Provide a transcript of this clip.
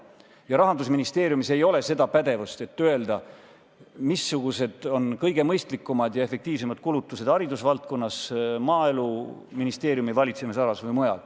Ja Rahandusministeeriumis ei ole seda pädevust, et öelda, missugused on kõige mõistlikumad ja efektiivsemad kulutused haridusvaldkonnas, Maaeluministeeriumi valitsemisalas või mujal.